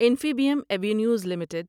Infibeam Avenues limited